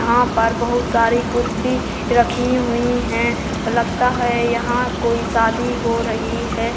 यहां पर बहुत सारी कुर्सी रखी हुई हैं। लगता है यहां कोई शादी हो रही है।